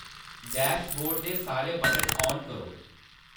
dashboard दे सारे button on करो